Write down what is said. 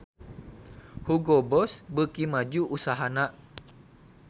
Hugo Boss beuki maju usahana